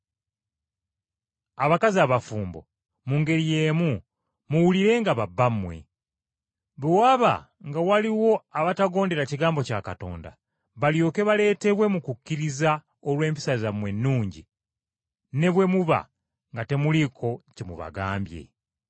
Abakazi abafumbo, mu ngeri y’emu muwulirenga babbammwe, bwe waba nga waliwo abatagondera kigambo kya Katonda, balyoke baleetebwe mu kukkiriza olw’empisa zammwe ennungi ne bwe muba nga temuliiko kye mubagambye.